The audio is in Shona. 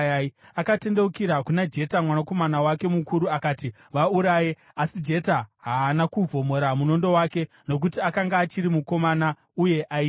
Akatendeukira kuna Jeta mwanakomana wake mukuru, akati, “Vauraye!” Asi Jeta haana kuvhomora munondo wake, nokuti akanga achiri mukomana uye aitya.